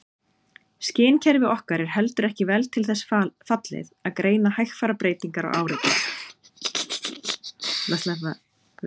Skynkerfi okkar er heldur ekki vel til þess fallið að greina hægfara breytingar á áreiti.